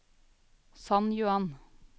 San Juan